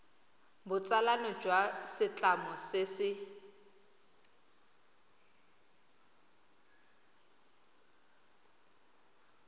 botsalano jwa setlamo se se